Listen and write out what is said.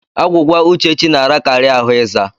Agwụgwa Uchechi na-arakari ahụ ịza.